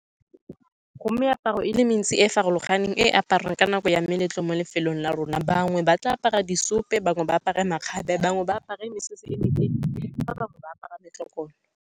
Go meaparo e le mentsi e e farologaneng e a aparwang ka nako ya meletlo mo lefelong la rona. Bangwe ba tla apara di ope, bangwe ba apara makgabe, bangwe ba apare mesese e metelele, ba bangwe ba apara metlokolo.